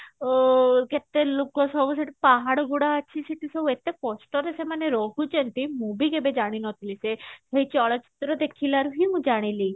ଓ କେତେ ଲୋକ ସବୁ ଶେଠୀ ପାହାଡ ଗୁଡା ଅଛି ସବୁ ଶେଠୀ ସବୁ ଏତେ କଷ୍ଟରେ ରହୁଛନ୍ତି ମୁଁ ବି କେବେ ଜାଣି ନଥିଲି ସେ ଚଳଚିତ୍ର ଦେଖିଲା ଖୁନୁ ମୁଁ ଜାଣିଲି